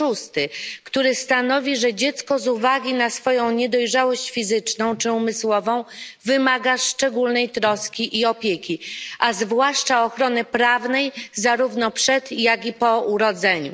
6, który stanowi, że dziecko z uwagi na swoją niedojrzałość fizyczną czy umysłową wymaga szczególnej troski i opieki, a zwłaszcza ochrony prawnej zarówno przed, jak i po urodzeniu.